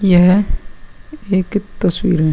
यह एक तस्वीर है।